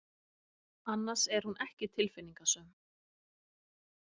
Annars er hún ekki tilfinningasöm.